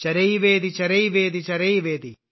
ചരൈവേതി ചരൈവേതി ചരൈവേതി